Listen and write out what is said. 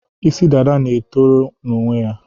Isi dada na-etoro n'onwe ya.